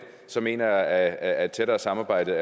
mener jeg at et tættere samarbejde